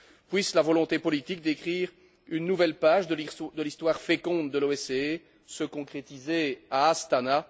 Puisse la volonté politique d'écrire une nouvelle page de l'histoire féconde de l'OSCE se concrétiser à Astana.